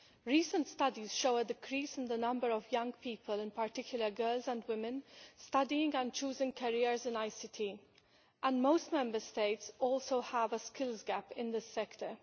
Recent studies show a decrease in the number of young people, in particular girls and women, studying and choosing careers in ICT, and most Member States also have a skills gap in this sector.